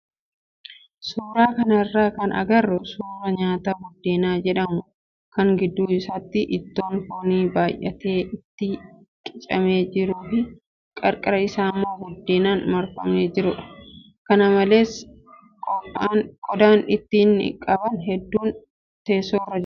Suuraa kanarraa kan agarru suuraa nyaata buddeena jedhamu kan gidduu isaatti ittoon foonii baay'atee itti qicamee jiruu fi qarqara isaammoo buddeenaan marfamee jirudha. Kana malees qodaan ittoo qaban hedduun teessoorra jiru.